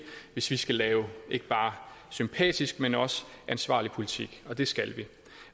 hvis vi skal lave ikke bare sympatisk men også ansvarlig politik og det skal vi